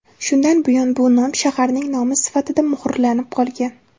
Shundan buyon bu nom shaharning nomi sifatida muhrlarnib qolgan.